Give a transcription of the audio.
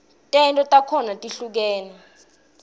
tento takhona tihlukule